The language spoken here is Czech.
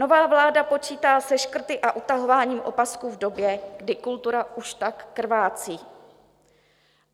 Nová vláda počítá se škrty a utahováním opasků v době, kdy kultura už tak krvácí.